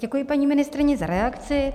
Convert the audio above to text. Děkuji, paní ministryně, za reakci.